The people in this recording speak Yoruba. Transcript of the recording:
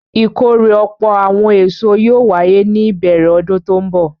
Ìkórè ọ̀pọ̀ àwọn èso yóò wáyé ní ìbẹ̀rẹ̀ ọdún tó ń bọ̀.